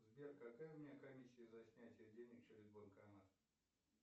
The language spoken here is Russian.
сбер какая у меня комиссия за снятие денег через банкомат